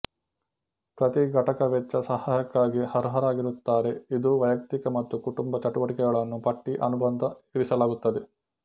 ಪ್ರತಿ ಘಟಕ ವೆಚ್ಚ ಸಹಾಯಕ್ಕಾಗಿ ಅರ್ಹರಾಗಿರುತ್ತಾರೆ ಇದು ವೈಯಕ್ತಿಕ ಮತ್ತು ಕುಟುಂಬ ಚಟುವಟಿಕೆಗಳನ್ನು ಪಟ್ಟಿ ಅನುಬಂಧ ಇರಿಸಲಾಗುತ್ತದೆ